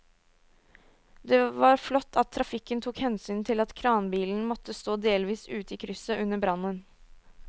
Det var flott at trafikken tok hensyn til at kranbilen måtte stå delvis ute i krysset under brannen.